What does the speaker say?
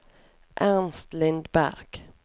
Ernst Lindberg